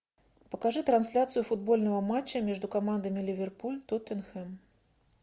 покажи трансляцию футбольного матча между командами ливерпуль тоттенхэм